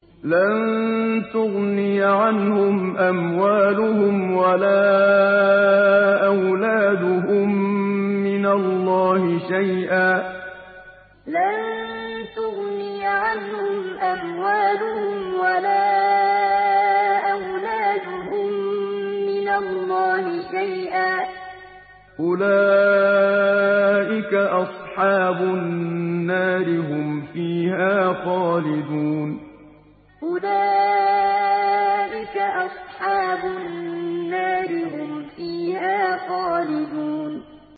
لَّن تُغْنِيَ عَنْهُمْ أَمْوَالُهُمْ وَلَا أَوْلَادُهُم مِّنَ اللَّهِ شَيْئًا ۚ أُولَٰئِكَ أَصْحَابُ النَّارِ ۖ هُمْ فِيهَا خَالِدُونَ لَّن تُغْنِيَ عَنْهُمْ أَمْوَالُهُمْ وَلَا أَوْلَادُهُم مِّنَ اللَّهِ شَيْئًا ۚ أُولَٰئِكَ أَصْحَابُ النَّارِ ۖ هُمْ فِيهَا خَالِدُونَ